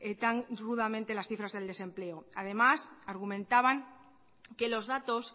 tan rudamente las cifras del desempleo además argumentaban que los datos